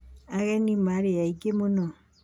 Ageni maarĩ aingĩ mũno.